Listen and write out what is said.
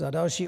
Za další.